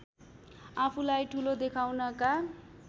आफूलाई ठूलो देखाउनका